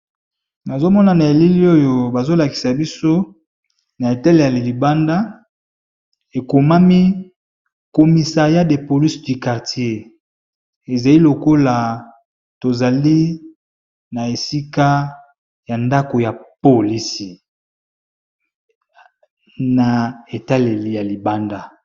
nazomona na eleli oyo bazolakisa biso na etale ya libanda ekomami komisa ya de polisi du kartier ezai lokola tozali na esika ya ndako ya polisi na etaleli ya libanda